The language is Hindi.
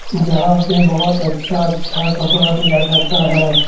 जहाँ पे बहुत अच्छा-अच्छा कपड़ा दिया जाता है।